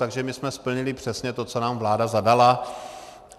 Takže my jsme splnili přesně to, co nám vláda zadala.